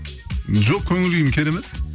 жоқ көңілкүйім керемет